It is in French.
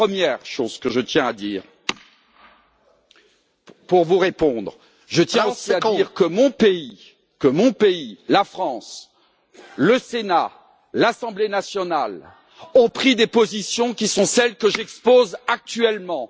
C'est la première chose que je tiens à dire. Pour vous répondre, je tiens aussi à dire que mon pays, la France, le Sénat, l'Assemblée nationale, ont pris des positions qui sont celles que j'expose actuellement.